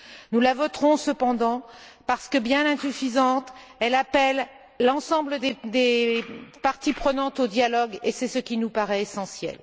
Nous la voterons cependant parce que, bien qu'insuffisante, elle appelle l'ensemble des parties prenantes au dialogue et c'est ce qui nous paraît essentiel.